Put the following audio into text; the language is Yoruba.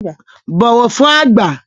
Bọ̀wọ̀ fún àgbà!